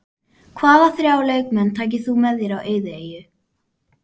Hvaða þrjá leikmenn tækir þú með þér á eyðieyju?